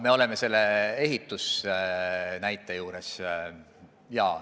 Aa, jutt on sellest ehitise näitest.